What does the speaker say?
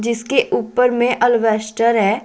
इसके ऊपर में अल्वेस्टर है।